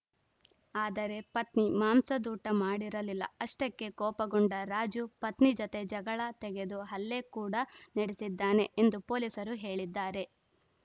ಆದರೆ ಪತ್ನಿ ಮಾಂಸದೂಟ ಮಾಡಿರಲಿಲ್ಲ ಅಷ್ಟಕ್ಕೆ ಕೋಪಗೊಂಡ ರಾಜು ಪತ್ನಿ ಜತೆ ಜಗಳ ತೆಗೆದು ಹಲ್ಲೆ ಕೂಡ ನಡೆಸಿದ್ದಾನೆ ಎಂದು ಪೊಲೀಸರು ಹೇಳಿದ್ದಾರೆ